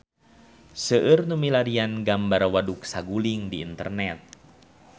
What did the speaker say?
Seueur nu milarian gambar Waduk Saguling di internet